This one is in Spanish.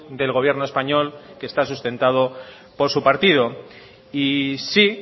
del gobierno español que está sustentado por su partido y sí